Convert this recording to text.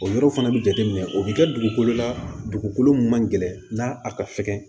O yɔrɔ fana bɛ jateminɛ o bɛ kɛ dugukolo la dugukolo min man gɛlɛn n'a ka fɛgɛn